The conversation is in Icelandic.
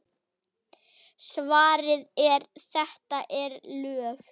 Svarið er: þetta eru lög!